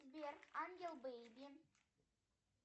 сбер ангел бейби